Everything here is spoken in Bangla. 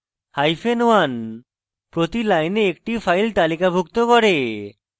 1 hyphen 1 প্রতি line একটি file তালিকাভুক্ত করে